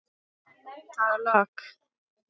Það lak.